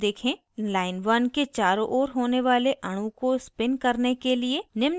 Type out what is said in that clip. line1 1 के चारों ओर होने वाले अणु को spin करने के लिए निम्न command type करें